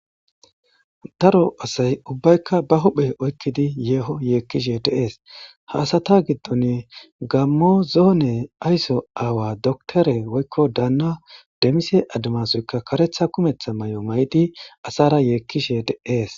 Daro asay ubbaykka ba huphe oykkidi yeeho yeekkishe deees haasata giddon gammo zoone ayso aawa doktore woykko daanna demise adamasoyka karetha kumetha may7o may7di asara yeekkishe deees.